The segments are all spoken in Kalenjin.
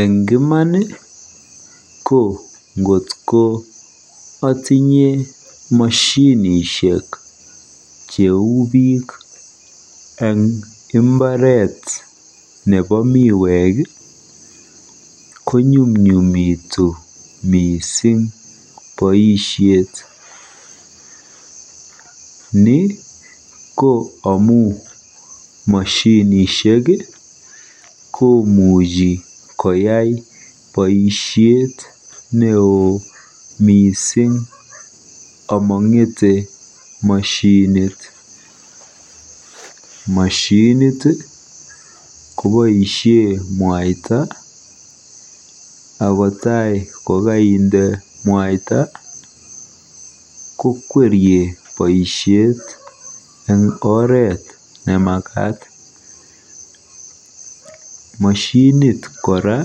Eng iman ko ngotko atinye moshinishek cheu biik eng mbaretnyu nebo miwek ko nyumnyumitu mising boisiet. Ni ko amu moshinishek komuchi koyai boisiet neoo mising amang'ete moshinit. Moshinit koboisie mwaita ako tai kokainde mwaita kokwerie boisiet eng oret nemakat. Moshinit kora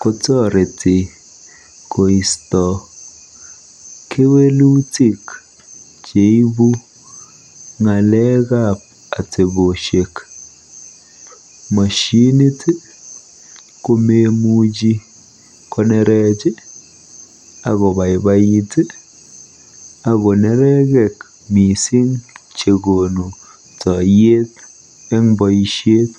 kotoreti koisto kewelutik cheibu ng'alekab atebosiek. Moshinit ko memuchi konerech akobaibait ako nerekek mising chekonu toiyet eng boisiet.